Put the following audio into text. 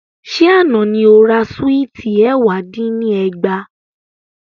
Sẹ́ àná ni o ra Súìtì ẹ̀wá dín ní ẹgbàá?